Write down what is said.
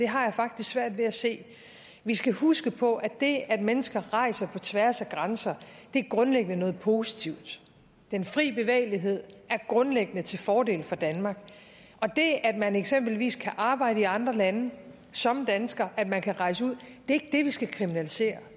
har jeg faktisk svært ved at se vi skal huske på at det at mennesker rejser på tværs af grænser grundlæggende er noget positivt den frie bevægelighed er grundlæggende til fordel for danmark og det at man eksempelvis kan arbejde i andre lande som dansker at man kan rejse ud er ikke det vi skal kriminalisere